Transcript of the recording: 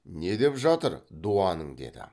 не деп жатыр дуаның деді